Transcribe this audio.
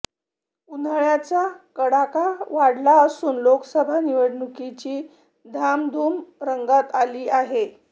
उन्हाळ्याचा कडाका वाढला असून लोकसभा निवडणुकीची धामधूम रंगात आली आहे